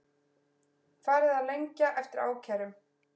Farið að lengja eftir ákærum